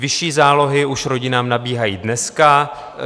Vyšší zálohy už rodinám nabíhají dneska.